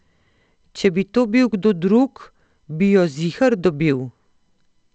Če bi to bil kdo drug, bi jo ziher dobil.